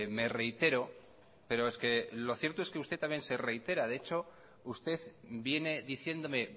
me reitero pero es que lo cierto es que usted también se reitera de hecho usted viene diciéndome